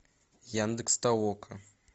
яндекс толока